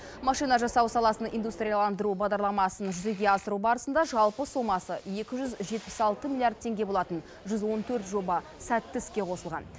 машина жасау саласын индустрияландыру бағдарламасын жүзеге асыру барысында жалпы сомасы екі жүз жетпіс алты миллиард теңге болатын жүз он төрт жоба сәтті іске қосылған